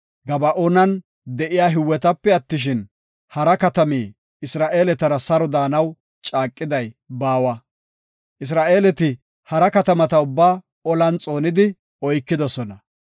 Gaba7oonan de7iya Hiwetape attishin, hara katami Isra7eeletara saro daanaw caaqiday baawa. Isra7eeleti hara katamata ubbaa olan xoonidi oykidosona.